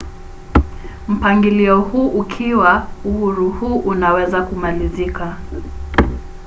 mpangilio huu ukiwa uhuru huu unaweza kumalizika